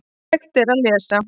Hægt er að lesa